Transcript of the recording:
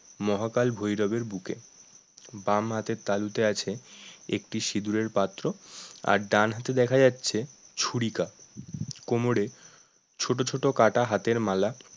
মহাকাল ভৈরব এর বুকে বাম হাতের তালুতে আছে একটি সিঁদুরের পাত্র আর ডান হাতে দেখা যাচ্ছে ছুরিকা কোমরে ছোট ছোট কাটা হাতের মালা